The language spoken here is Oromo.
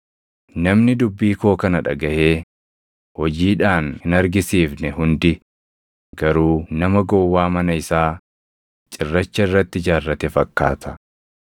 Namni dubbii koo kana dhagaʼee hojiidhaan hin argisiifne hundi garuu nama gowwaa mana isaa cirracha irratti ijaarrate fakkaata.